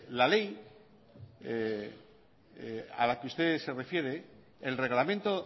la ley a la que usted se refiere el reglamento